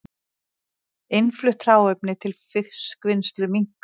Innflutt hráefni til fiskvinnslu minnkar